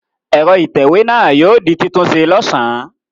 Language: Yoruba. Ẹ̀rọ ìtẹ̀wé náà yóò di títúnṣe lọ́sàn-án.